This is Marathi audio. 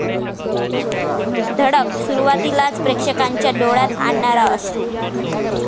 धडक' सुरुवातीलाच प्रेक्षकांच्या डोळ्यात आणणार अश्रू